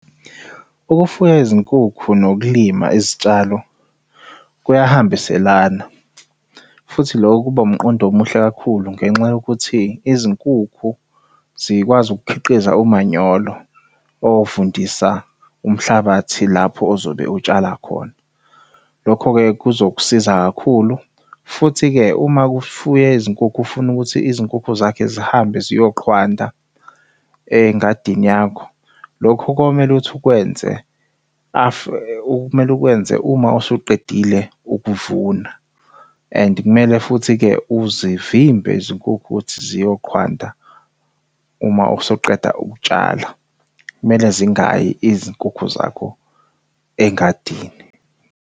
Ukufuya izinkukhu nokulima izitshalo kuyahambiselana, futhi loko kuba umqondo omuhle kakhulu ngenxa yokuthi izinkukhu zikwazi ukukhiqiza umanyolo ovundisa umhlabathi lapho ozobe utshala khona. Lokho-ke kuzokusiza kakhulu futhi-ke uma kufuywe izinkukhu ufuna ukuthi izinkukhu zakhe zihambe ziyoqhwanda engadini yakho. Lokho komele uthi ukwenze kumele ukwenze uma usuqedile ukuvuna and kumele futhi-ke uzivimbe izinkukhu ukuthi ziyoqhwanda uma usuqeda ukutshala. Kumele zingayi izinkukhu zakho engadini.